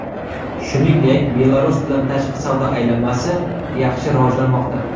Shuningdek, Belarus bilan tashqi savdo aylanmasi yaxshi rivojlanmoqda.